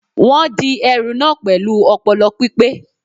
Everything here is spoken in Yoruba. Wọ́n di ẹrù na pẹ̀lú ọpọlọ pípé